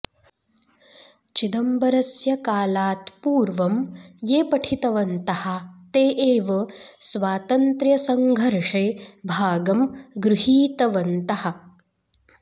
चिदंबरस्य कालात् पूर्वं ये पठितवन्तः ते एव स्वातन्त्र्यसङ्घर्षे भागं गृहीतवन्तः